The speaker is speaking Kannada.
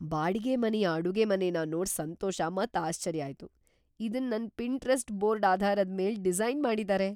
ಬಾಡಿಗೆ ಮನೆಯ ಅಡುಗೆಮನೆನ ನೋಡ್ ಸಂತೋಷ ಮತ್ ಆಶ್ಚರ್ಯ ಆಯ್ತು - ಇದನ್ ನನ್ ಪಿಂಟರೆಸ್ಟ್ ಬೋರ್ಡ್ ಆಧಾರದ ಮೇಲ್ ಡಿಸೈನ್ ಮಾಡಿದ್ದಾರೆ!"